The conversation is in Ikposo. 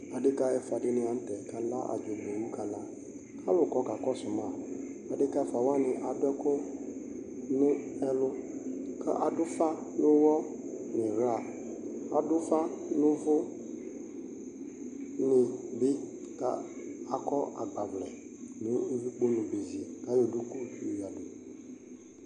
Adekaɛfʊa dini la nʊtɛ kana adzogbewu kana kalʊ kɔ kakɔsʊma Adekaɛfʊa wani adʊɛkʊ ni ɛlʊ Kadʊ ʊfa nʊ ɛlʊ niɣla Adʊ ʊfa nʊvʊnibi kakɔ agbavlɛ nʊvʊkponu bezi kayɔ duku yoyǝdu